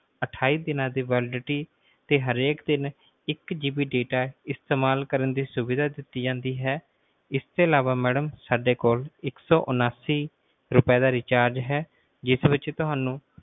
ਅਠਾਈ ਦੀਨਾ ਦੀ validity ਤੇ ਹਰ ਇਕ ਦਿਨ ਇੱਕ GB data ਇਸਤੇਮਾਲ ਕਰਨ ਦੀ ਸੁਵਿਧਾ ਦਿੱਤੀ ਜਾਂਦੀ ਹੈ ਇਸ ਤੋਂ ਅਲਾਵਾ ਮੈਡਮ ਸਾਡੇ ਕੋਲ ਇੱਕ ਸੌ ਉਣਾਸੀ ਰੁਪਏ ਦਾ pack ਹੈ ਜਿਸ ਵਿਚ ਤੁਹਾਨੂੰ